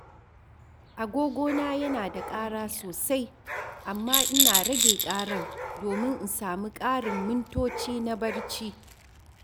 Agogo na yana ƙara sosai, amma ina rage ƙarar domin in samu ƙarin mintoci na barci.